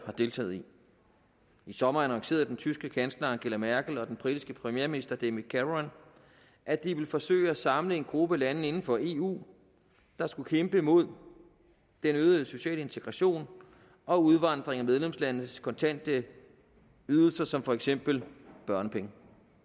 har deltaget i i sommer annoncerede den tyske kansler angela merkel og den britiske premierminister david cameron at de ville forsøge at samle en gruppe lande inden for eu der skulle kæmpe mod den øgede sociale integration og udvandringen af medlemslandes kontante ydelser som for eksempel børnepenge